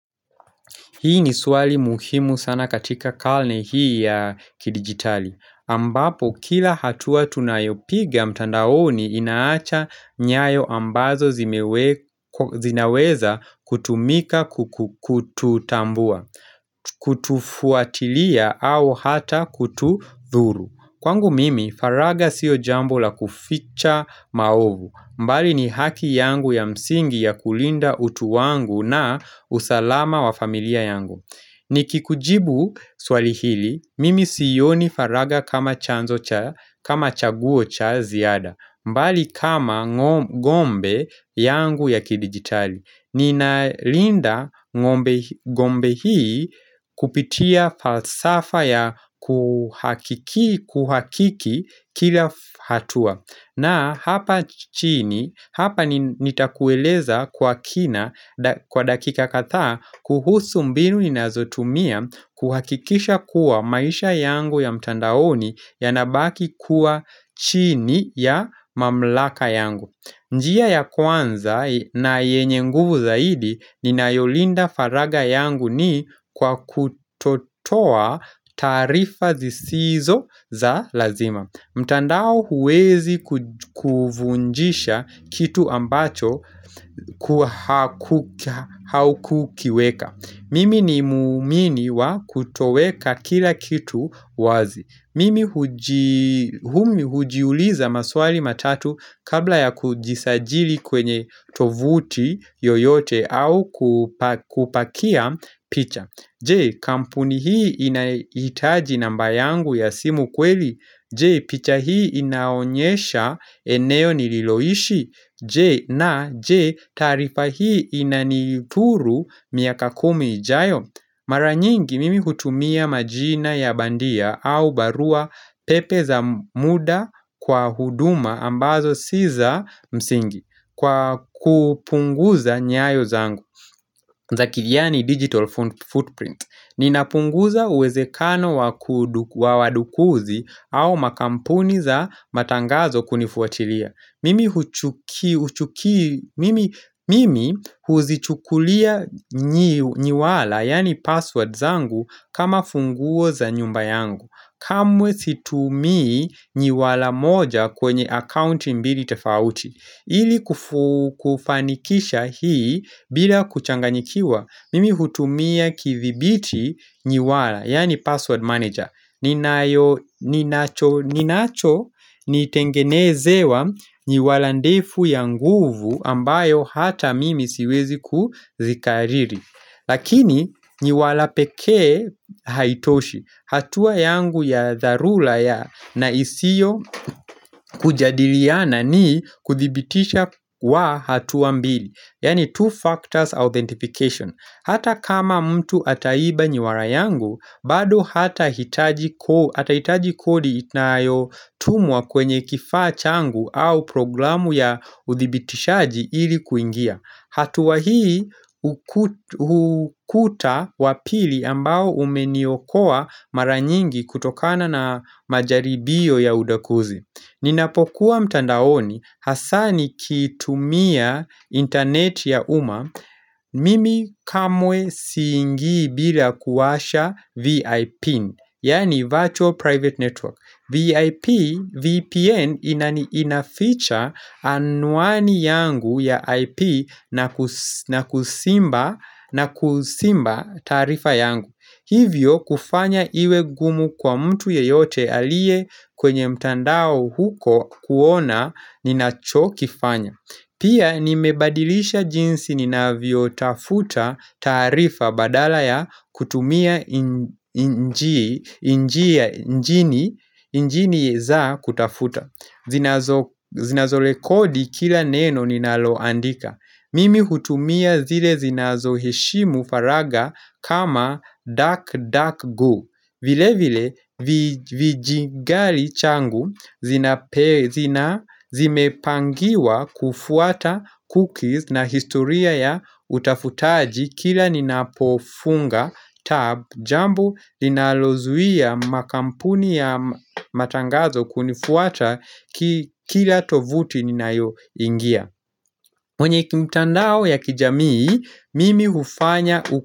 Hii ni swali muhimu sana katika karne hii ya kidigitali. Ambapo kila hatua tunayopiga mtandaoni inaacha nyayo ambazo zinaweza kutumika kututambua, kutufuatilia au hata kututhuru. Kwangu mimi, faragha sio jambo la kuficha maovu. Mbali ni haki yangu ya msingi ya kulinda utu wangu na usalama wa familia yangu. Nikikujibu swali hili, mimi sioni faraga kama chaguo cha ziada. Mbali kama gombe yangu ya kidigitali. Nina linda gombe hii kupitia falsafa ya kuhakiki kila hatua. Na hapa chini, hapa nitakueleza kwa kina kwa dakika kadhaa kuhusu mbinu ninazotumia kuhakikisha kuwa maisha yangu ya mtandaoni yanabaki kuwa chini ya mamlaka yangu. Njia ya kwanza na yenye nguvu zaidi ninayolinda faragha yangu ni kwa kutotoa taarifa zisizo za lazima. Mtandao huwezi kuvunjisha kitu ambacho haukukiweka. Mimi ni muumini wa kutoweka kila kitu wazi. Mimi hujiuliza maswali matatu kabla ya kujisajili kwenye tovuti yoyote au kupakia picha. Je, kampuni hii inahitaji namba yangu ya simu kweli? Je, picha hii inaonyesha eneo nililoishi? Je, na, je, taarifa hii inanithuru miaka kumi ijayo? Mara nyingi mimi hutumia majina ya bandia au barua pepe za muda kwa huduma ambazo si za msingi. Kwa kupunguza nyayo zangu. Zaki yaani digital footprint. Ninapunguza uwezekano wa wadukuzi au makampuni za matangazo kunifuatilia Mimi huzichukulia nywala yaani password zangu kama funguo za nyumba yangu. Kamwe situmii nywala moja kwenye account mbili tofauti. Ili kufanikisha hii bila kuchanganyikiwa mimi hutumia kithibiti nywala yaani password manager ninacho nitengenezewa nyiwala ndefu ya nguvu ambayo hata mimi siwezi kuzikariri. Lakini nyiwala pekee haitoshi hatuwa yangu ya dharula ya na isiyo kujadiliana ni kuthibitisha kwa hatua mbili. Yaani two factors authentication. Hata kama mtu ataiba nywala yangu bado atahitaji kodi inayo tumwa kwenye kifaa changu au programu ya uthibitishaji ili kuingia. Hatua hii hukuta wa pili ambao umeniokoa mara nyingi kutokana na majaribio ya udakuzi. Ninapokuwa mtandaoni hasa nikitumia internet ya umma. Je, kampuni hii inahitaji namba yangu ya simu kweli? Yani Virtual Private Network VIP VPN inaficha anwani yangu ya IP na kuzimba taarifa yangu. Hivyo kufanya iwe gumu kwa mtu yeyote aliye kwenye mtandao huko kuona ninacho kifanya. Pia nimebadilisha jinsi ninavyotafuta taarifa badala ya kutumia injini za kutafuta. Zinazorekodi kila neno ninaloandika. Mimi hutumia zile zinazo heshimu faraga kama duck duck go. Vilevile vijingali changu zimepangiwa kufuata cookies na historia ya utafutaji kila ninapofunga tab jambo linalozuia makampuni ya matangazo kunifuata kila tovuti ninayoingia. Mwenye kimtandao ya kijamii, mimi hufanya uko.